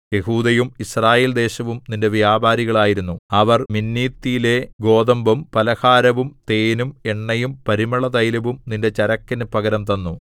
യെഹൂദയും Israel ദേശവും നിന്റെ വ്യാപാരികളായിരുന്നു അവർ മിന്നീത്തിലെ ഗോതമ്പും പലഹാരവും തേനും എണ്ണയും പരിമളതൈലവും നിന്റെ ചരക്കിനു പകരം തന്നു